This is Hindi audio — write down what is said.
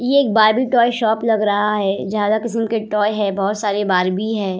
इ एक बार्बी टॉय शॉप लग रहा है ज्यादे किस्म के टॉय है बोहोत सारे बार्बी है।